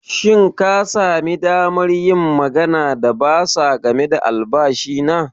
Shin ka sami damar yin magana da bursar game da albashi na?